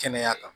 Kɛnɛya kan